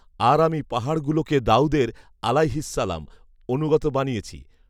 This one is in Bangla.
আর আমি পাহাড়গুলোকে দাঊদের আলাইহিস সালাম অনুগত বানিয়েছি